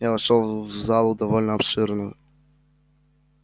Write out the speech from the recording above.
я вошёл в залу довольно обширную